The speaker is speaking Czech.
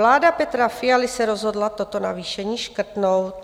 Vláda Petra Fialy se rozhodla toto navýšení škrtnout.